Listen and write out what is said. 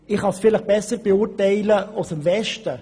Dies kann ich vielleicht besser im Westen von Bern beurteilen.